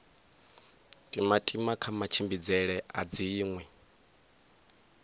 timatima kha matshimbidzele a dziṅwe